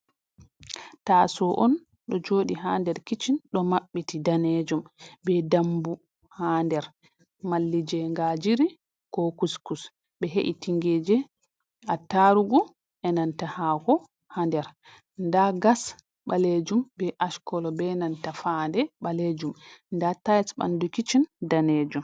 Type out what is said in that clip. Taso on ɗo joɗi ha nder kiccen ɗo maɓɓiti danejum be dambu ha nder, malli je ngajiri ko kuskus ɓe he’i tingeje, a tarugu, enanta hako ha nder nda gas ɓalejum be ash kolo be nanta fande ɓalejum nda taies ɓandu kicchin. danejum